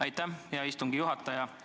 Aitäh, hea istungi juhataja!